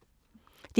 DR1